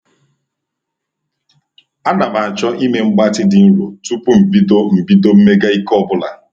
Ana m-achọ ime mgbatị dị nro tupu m bido m bido mmega ike ọ bụla.